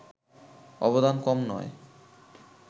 অবদান কম নয়